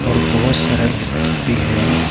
और बहुत सारा बिस्किट है।